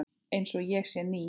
Einsog ég sé ný.